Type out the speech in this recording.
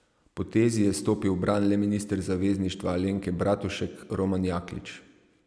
Potezi je stopil v bran le minister Zavezništva Alenke Bratušek, Roman Jaklič.